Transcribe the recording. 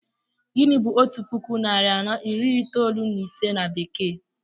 Gịnị bu otu puku narị anọ iri itoolu na ise na bekee?